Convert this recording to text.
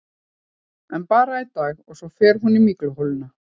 En bara í dag, svo fer hún í mygluholuna.